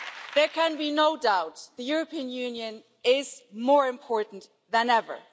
There can be no doubt the European Union is more important than ever.